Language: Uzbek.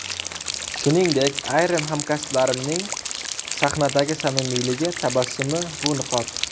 Shuningdek, ayrim hamkasblarimning sahnadagi samimiyligi, tabassumi, bu niqob.